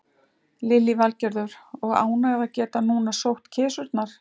Lillý Valgerður: Og ánægð að geta núna sótt kisurnar?